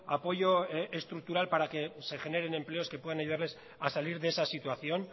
apoyo estructural para que se generen empleos que puedan ayudarles a salir de esa situación